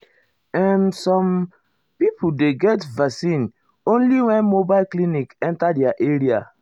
ehmsome ah people dey get vaccine only when mobile clinic enta their area.